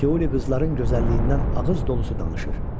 Teoli qızların gözəlliyindən ağız dolusu danışır.